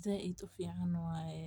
sida u fican waye.